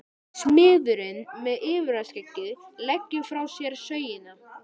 Smiðurinn með yfirskeggið leggur frá sér sögina.